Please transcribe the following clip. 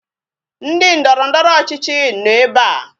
Ndị ndọrọndọrọ ọchịchị nọ ebe a